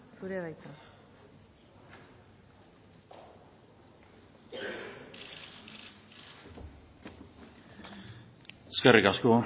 zurea da hitza eskerrik asko